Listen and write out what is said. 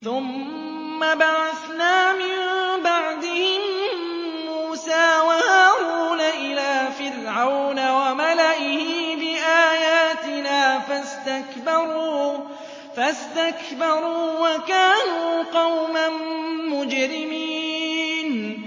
ثُمَّ بَعَثْنَا مِن بَعْدِهِم مُّوسَىٰ وَهَارُونَ إِلَىٰ فِرْعَوْنَ وَمَلَئِهِ بِآيَاتِنَا فَاسْتَكْبَرُوا وَكَانُوا قَوْمًا مُّجْرِمِينَ